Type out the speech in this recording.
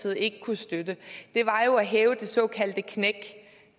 ikke kunne støtte var jo at hæve det såkaldte knæk